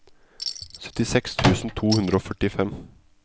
syttiseks tusen to hundre og førtifem